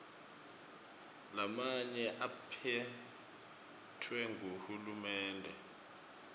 lamanye aphetfwe nguhulumende